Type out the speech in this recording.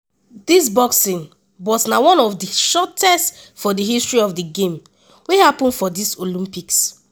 dis boxing bout na one of di shortest for di history of di game wey happun for dis olympics.